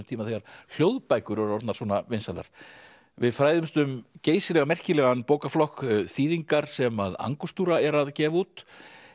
tíma þegar hljóðbækur eru orðnar svona vinsælar við fræðumst um geysilega merkilegan bókaflokk þýðingar sem er að gefa út